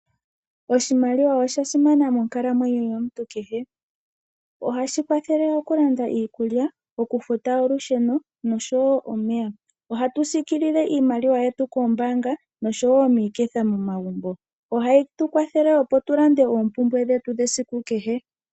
Oshimaliwa osha simana monkalamwenyo yomuntu kehe. Ohashi kwathele okulanda iikulya, okufuta olusheno nosho wo omeya. Ohatu siikilile iimaliwa yetu koombaanga nosho wo miiketha momagumbo. Ohayi tu kwathele opo tu lande oompumbwe dhetu dhesiku kehe.